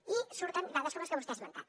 i surten dades com les que vostè ha esmentat